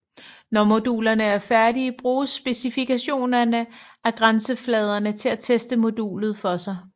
Når modulerne er færdige bruges specifikationerne af grænsefladerne til at teste modulet for sig